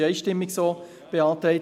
dies wurde einstimmig so beantragt.